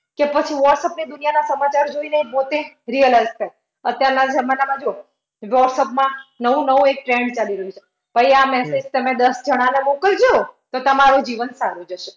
કે પછી whatsapp ની દુનિયાના સમાચાર જોઈને પોતે realise થાય અત્યારના જમાનામાં જૂઓ. whatsapp માં નવું-નવું એક trend ચાલી રહ્યું છે. ભાઈ આ message તમે દસ જણાને મોકલજો તો તમારું જીવન સારું જશે.